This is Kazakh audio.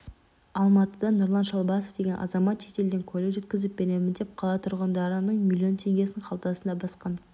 алматыда нұрлан шалбасов деген азамат шетелден көлік жеткізіп беремін деп қала тұрғындарының миллион теңгесін қалтасына басқан